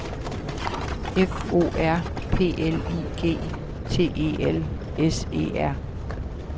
F O R P L I G T E L S E R